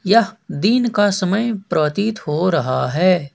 यह दिन का समय प्रतीत हो रहा है।